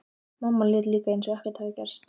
Mamma lét líka eins og ekkert hefði gerst.